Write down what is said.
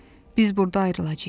Biz burda ayrılacağıq.